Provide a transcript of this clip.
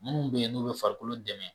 Minnu bɛ yen n'u bɛ farikolo dɛmɛ